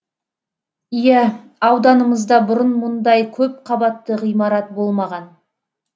иә ауданымызда бұрын мұндай көп қабатты ғимарат болмаған